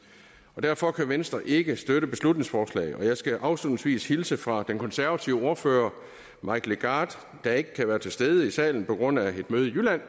og derfor kan venstre ikke støtte beslutningsforslaget og jeg skal afslutningsvis hilse fra den konservative ordfører mike legarth der ikke kan være til stede i salen på grund af et møde i jylland